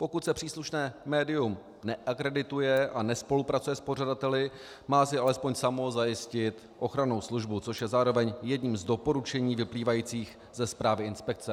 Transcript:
Pokud se příslušné médium neakredituje a nespolupracuje s pořadateli, má si alespoň samo zajistit ochrannou službu, což je zároveň jedním z doporučení vyplývajících ze zprávy inspekce.